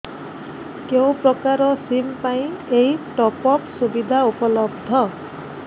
କେଉଁ ପ୍ରକାର ସିମ୍ ପାଇଁ ଏଇ ଟପ୍ଅପ୍ ସୁବିଧା ଉପଲବ୍ଧ